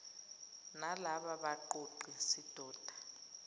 nalaba baqoqi sidoda